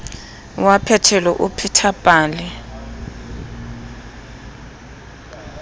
wa phetelo o pheta pale